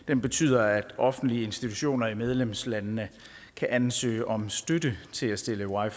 den betyder at offentlige institutioner i medlemslandene kan ansøge om støtte til at stille wi